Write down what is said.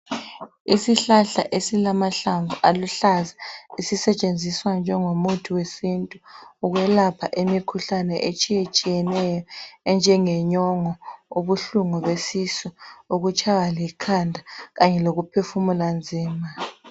ishlahal esilamahlamvu aluhlaza esisetshenziswa njengomuthi wesintu ukwelapha imikhuhlane etshiyetshiyeneyo enjengenyongo ubuhlungu besisu ukutshaywa likhanda kanye lokuphefumula nzima